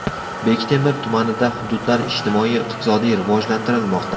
Bektemir tumanida hududlar ijtimoiy-iqtisodiy rivojlantirilmoqda .